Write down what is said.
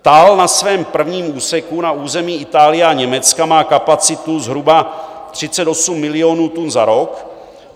TAL na svém prvním úseku na území Itálie a Německa má kapacitu zhruba 38 milionů tun za rok.